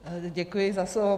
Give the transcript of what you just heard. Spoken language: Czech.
Děkuji za slovo.